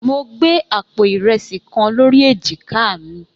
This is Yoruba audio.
Mo gbé àpò ìrẹsì kan lórí èjìká mi.